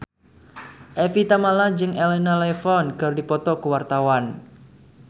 Evie Tamala jeung Elena Levon keur dipoto ku wartawan